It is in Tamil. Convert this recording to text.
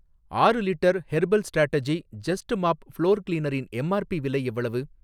ஆறு litre herbal strategy just mop floor கிளீனரின் எம் ஆர் பி விலை எவ்வளவு?